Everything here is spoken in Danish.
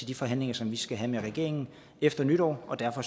de forhandlinger som vi skal have med regeringen efter nytår derfor